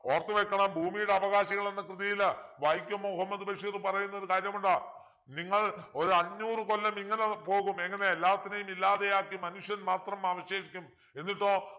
ഓർത്തു വെക്കണം ഭൂമിയുടെ അവകാശികൾ എന്ന കൃതിയിൽ വൈക്കം മുഹമ്മദ് ബഷീർ പറയുന്നൊരു കാര്യമുണ്ട് നിങ്ങൾ ഒരഞ്ഞൂറു കൊല്ലം ഇങ്ങനെ പോകും എങ്ങനെ എല്ലാത്തിനെയും ഇല്ലാതെയാക്കി മനുഷ്യൻ മാത്രം അവശേഷിക്കും എന്നിട്ടോ